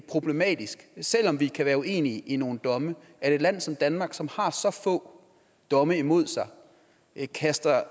problematisk selv om vi kan være uenige i nogle domme at et land som danmark som har så få domme imod sig kaster